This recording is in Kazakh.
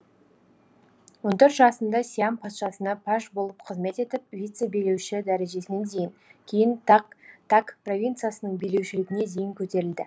он төрт жасында сиам патшасына паж болып қызмет етіп вицебилеуші дәрежесіне дейін кейін так провициясының билеушілігіне дейін көтерілді